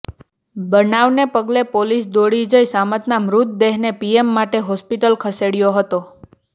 બનાવને પગલે પોલીસ દોડી જઇ સામતના મૃતદેહને પીએમ માટે હોસ્પિટલ ખસેડ્યો હતો